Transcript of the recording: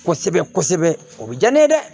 Kosɛbɛ kosɛbɛ o bɛ diya ne ye dɛ